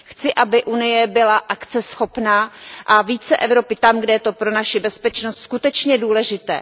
Chci, aby Unie byla akceschopná a více Evropy tam, kde je to pro naši bezpečnost skutečně důležité.